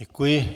Děkuji.